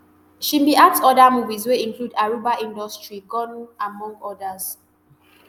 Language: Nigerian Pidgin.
she bin act oda movies wey include arugba industreet gone among odas